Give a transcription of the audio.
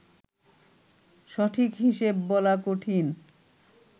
সঠিক হিসেব বলা কঠিন